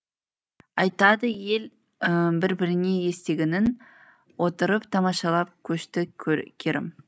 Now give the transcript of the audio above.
айтады ел бір біріне естігенін отырып тамашалап көшті керім